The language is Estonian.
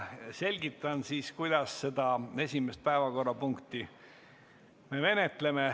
Selgitan, kuidas me seda esimest päevakorrapunkti menetleme.